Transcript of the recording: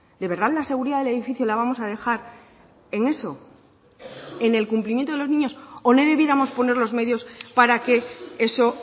de verdad la seguridad del edificio la vamos a dejar en eso en el cumplimiento de los niños o no debiéramos poner los medios para que eso